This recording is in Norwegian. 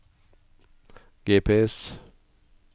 GPS